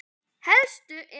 Helstu eru